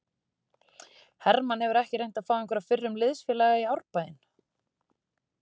Hermann hefur ekki reynt að fá einhverja fyrrum liðsfélaga í Árbæinn?